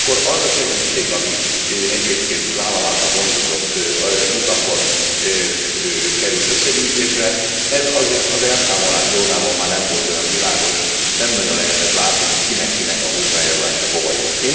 Ugyanakkor az a segítség, ami egyébként az állam által gondozott utakon került összegyűjtésre, ez azért az elszámolás dolgában már nem volt olyan világos, nem nagyon lehetett látni, hogy kinek kinek a hozzájárulása hova jut.